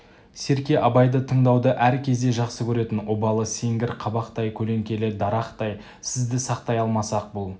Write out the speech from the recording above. серке абайды тыңдауды әр кезде жақсы көретін обалы сеңгір қабақтай көлеңкелі дарақтай сізді сақтай алмасақ бұл